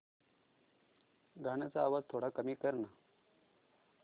गाण्याचा आवाज थोडा कमी कर ना